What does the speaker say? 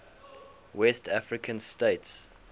west african states